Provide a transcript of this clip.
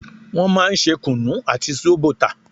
Wọn máa ń ṣe kunu àti zobo tà